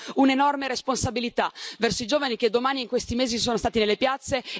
Abbiamo un'enorme responsabilità verso i giovani che domani e in questi mesi sono stati nelle piazze.